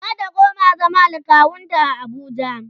zata koma zama da kawunta a Abuja